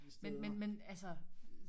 Men men men altså